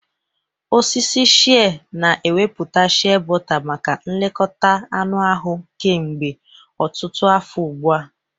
Osisi shịẹ́ na ewepụta shịẹ́bọta maka nlekọta anụ ahụ kemgbe ọtụtụ afọ ugbu a.